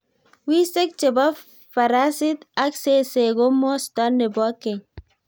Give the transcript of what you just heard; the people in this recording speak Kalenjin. Wiseek che bo farasit ak zeze ko mosto ne bo keny